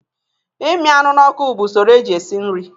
Imi anụ n'ọkụ bụ usoro eji esi nri